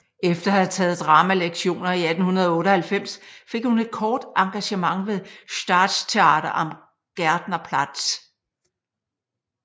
Efter at have taget dramalektioner i 1898 fik hun et kort engagement ved Staatstheater am Gärtnerplatz